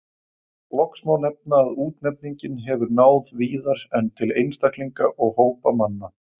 Loks má nefna að útnefningin hefur náð víðar en til einstaklinga og hópa manna.